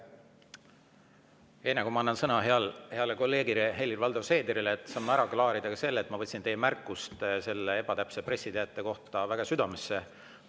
Enne kui ma annan sõna heale kolleegile Helir-Valdor Seederile, saame ära klaarida selle, et ma võtsin teie märkust ebatäpse pressiteate kohta väga südamesse.